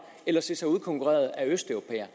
eller se sig udkonkurreret af østeuropæere